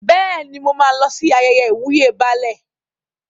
Bẹ́ẹ̀ni, mo máa lọ sí ayẹyẹ ìwúyè Baálẹ̀.